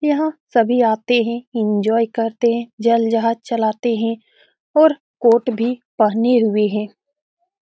यहाँ सभी आते है एन्जॉय करते है जल जहाज चलाते है और कोट भी पहने हुए है।